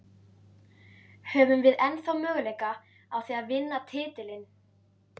Höfum við ennþá möguleika á því að vinna titilinn?